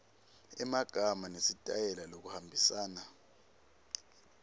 emagama nesitayela lokuhambisana